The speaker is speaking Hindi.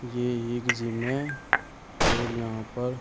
ये एक जिम है और यहां पर--